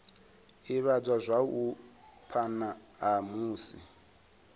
ivhadzwa zwavhui phana ha musi